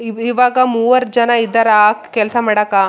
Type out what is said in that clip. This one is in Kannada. ಇಲ್ಲಿ ಮರಗಳ ಇವೆ ಮಣ್ಣಿನ ಗುಡ್ಡಗಳು ಕೂಡ ಇವೆ.